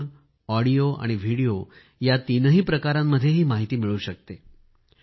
मजकूर ऑडिओ आणि व्हिडिओ या तीनही प्रकारांमध्ये ही माहिती मिळू शकते